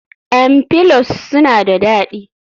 m pollows suna da dadi